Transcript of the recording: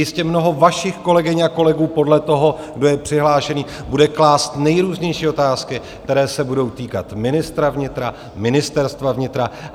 Jistě mnoho vašich kolegyň a kolegů podle toho, kdo je přihlášený, bude klást nejrůznější otázky, které se budou týkat ministra vnitra, Ministerstva vnitra.